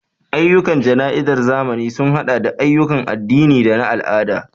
Ayyukan jana'izar zamani sun haɗa da ayyukan addini da na al'ada.